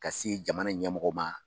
Ka se jamana ɲɛmɔgɔ ma.